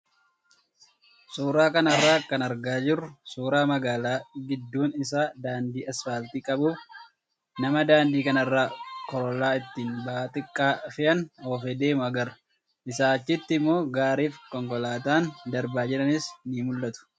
Suuraa kanarraa kan argaa jirru suuraa magaalaa gidduun isaa daandii asfaaltii qabuu fi nama daandii kanarra korollaa ittiin ba'aa xixiqqaa fe'an oofee deemu agarra. Isaa achitti immoo gaarii fi konkolaataan darbaa jiranis ni mul'atu.